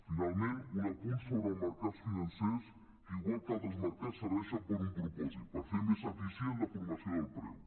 finalment un apunt sobre els mercats financers que igual que altres mercats serveixen per a un propòsit per fer més eficient la formació del preu